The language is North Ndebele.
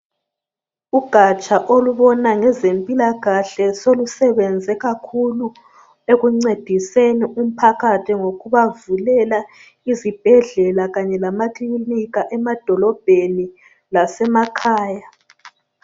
Ugatsha olubona ngezempilakahle solusebenze kakhulu ekuncediseni umphakathi ngokubavulela izibhedlela kanye lamaklinika emadolobheni lasemakhaya.